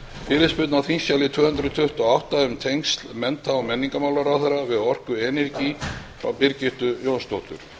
fyrirspurn á þingskjali tvö hundruð tuttugu og átta um tengsl mennta og menningarmálaráðherra við orku energy frá birgittu jónsdóttur